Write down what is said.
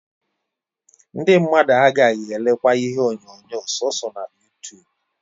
Ndi mmadu agagi elekwa ihe onyonyo soso na yutubu